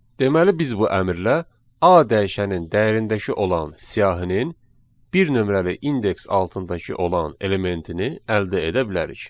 Deməli biz bu əmrlə A dəyişənin dəyərindəki olan siyahinin bir nömrəli indeks altındakı olan elementini əldə edə bilərik.